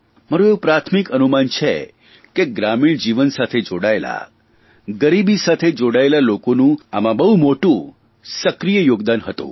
મારૂં એવું પ્રાથમિક અનુમાન છે કે ગ્રામીણ જીવન સાથે જોડાયેલા ગરીબી સાથે જોડાયેલા લોકોનું આમાં બહુ મોટું સક્રિય યોગદાન હતું